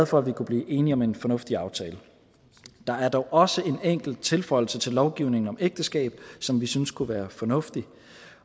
for at vi kunne blive enige om en fornuftig aftale der er dog også en enkelt tilføjelse til lovgivningen om ægteskab som vi synes kunne være fornuftig